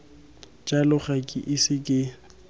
jalo ga ke ise ke